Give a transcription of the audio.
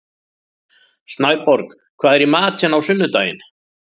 Snæborg, hvað er í matinn á sunnudaginn?